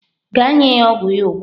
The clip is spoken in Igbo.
Gaa nye ya ogwu ogwu ya ugbua!